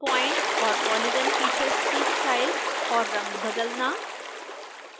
point और polygon features की style और रंग बदलना